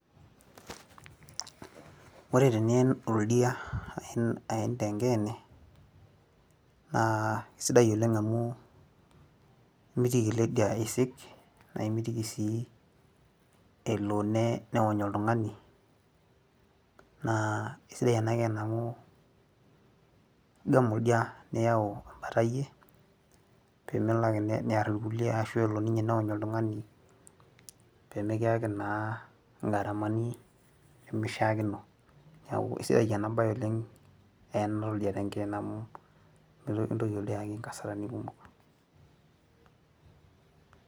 ore tenien oldia aen tenkeene, naa isidai oleng amu imitiki ele dia isik, naa imitiki sii elo neony oltungani, naa isidai ena keene amu imbung oldia niyau ebata iyie, pee melo ake, ashu elo ninye neony oltung'ani pee mikiyaki naa igaramani, nimishaakino, neeku isidai ena bae oleng oyena oldia tenkeene amu mikintoki oldia ayaki inkasarani kumok.